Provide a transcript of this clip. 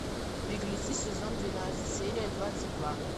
беглецы сезон двенадцать серия двадцать два